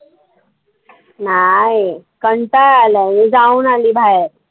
नाही. कंटाळा आलाय. मी जाऊन आली बाहेर.